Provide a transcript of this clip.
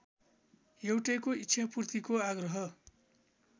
एउटैको इच्छापूर्तिको आग्रह